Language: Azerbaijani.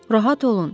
Rahat olun.